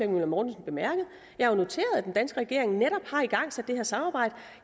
møller mortensen bemærkede at den danske regering netop har igangsat det her samarbejde